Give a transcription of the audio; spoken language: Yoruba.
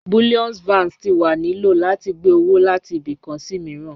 Bullion Vans ti wa ni lo lati gbe owo lati ibi kan si miiran.